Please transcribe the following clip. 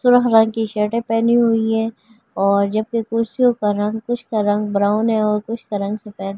की शर्टें पहनी हुई है और जब के कुर्सियों का रंग कुछ का रंग ब्राउन है और कुछ का रंग सफ़ेद।